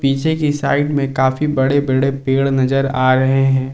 पीछे कि साइड में काफी बड़े बड़े पेड़ नजर आ रहे हैं।